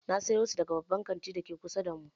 Na sayo su daga babban kantin dake kusa da mu.